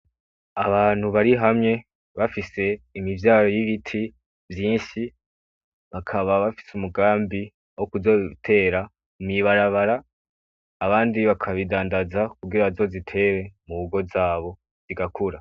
Abantu bari hamwe bafise imivyaro y'ibiti vyinshi, bakaba bafise umugambi wo kuzobitera mw'ibarabara, abandi bakabidandaza kugira bazozitere mu ngo zabo zigakura.